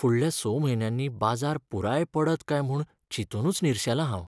फुडल्या स म्हयन्यांनी बाजार पुराय पडत काय म्हूण चिंतूनच निर्शेलां हांव.